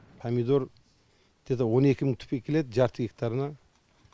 помидор где то он екі мың түпке келеді жарты гектарына